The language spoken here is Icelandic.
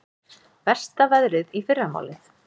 Versta veðrið í fyrramálið